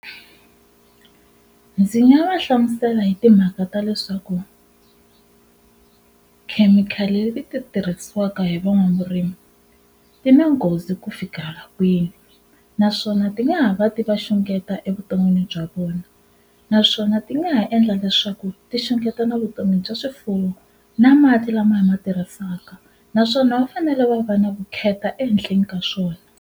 Ndzi nga va hlamusela hi timhaka ta leswaku khemikhali leti ti tirhisiwaka hi van'wavurimi ti na nghozi ku fika kwini naswona ti nga ha va ti va xungeta evuton'wini bya vona naswona ti nga ha endla leswaku ti xungeta na vutomi bya swifuwo na mati lama hi ma tirhisaka naswona va fanele va va na vukheta ehenhleni ka swona.